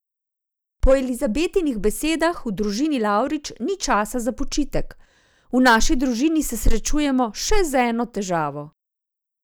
Po Elizabetinih besedah v družini Lavrič ni časa za počitek: "V naši družini se srečujemo še z eno težavo.